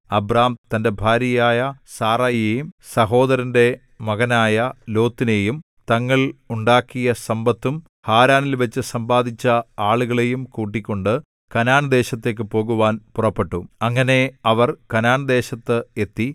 Abram തന്റെ ഭാര്യയായ സാറായിയെയും സഹോദരന്റെ മകനായ ലോത്തിനെയും തങ്ങൾ ഉണ്ടാക്കിയ സമ്പത്തും ഹാരാനിൽവച്ചു സമ്പാദിച്ച ആളുകളെയും കൂട്ടിക്കൊണ്ട് കനാൻദേശത്തേക്കു പോകുവാൻ പുറപ്പെട്ടു അങ്ങനെ അവർ കനാൻദേശത്ത് എത്തി